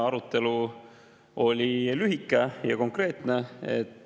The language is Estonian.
Arutelu oli lühike ja konkreetne.